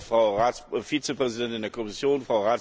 Frau Vizepräsidentin der Kommission!